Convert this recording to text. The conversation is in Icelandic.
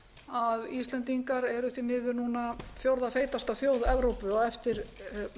að íslendingar eru eða því miður fjórða feitasta þjóð evrópu á eftir